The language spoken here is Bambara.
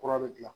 Kura bɛ dilan